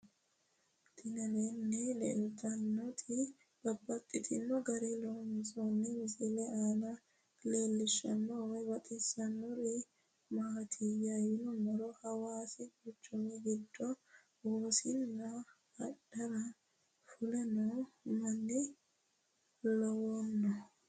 Tinni aleenni leelittannotti babaxxittinno garinni loonsoonni misile maa leelishshanno woy xawisannori maattiya yinummoro hawaasi quchummi giddo wosiinna adhara fule noo manna lawanno